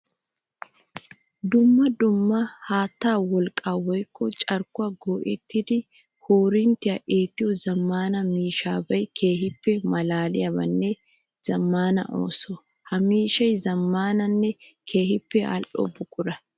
Duma dumma haatta wolqqa woykko carkkuwa go'ettiddi koorinttiya eettiya zamaana miishshabay keehippe malaaliyanne zamaana ooso. Ha miishshay zamaananne keehippe ali'o buqura.